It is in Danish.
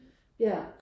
Ja